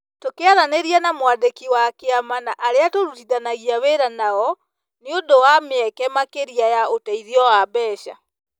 Tũkĩaranĩria na mwandĩki wa kĩama na arĩa tũrutithanagia wĩra nao, nĩ ũndũ wa mĩeke makĩria ya ũteithio wa mbeca,